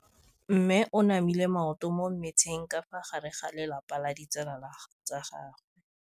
Mme o namile maoto mo mmetseng ka fa gare ga lelapa le ditsala tsa gagwe.